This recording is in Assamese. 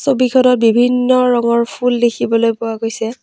ছবিখনত বিভিন্ন ৰঙৰ ফুল দেখিবলৈ পোৱা গৈছে।